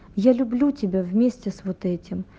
я люблю тебя вместе с вот этим